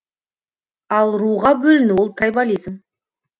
ал руға бөліну ол трайбализм